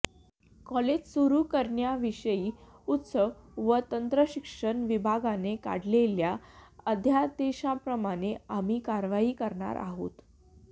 college सुरू करण्याविषयी उच्च व तंत्रशिक्षण विभागाने काढलेल्या अध्यादेशाप्रमाणे आम्ही कार्यवाही करणार आहोत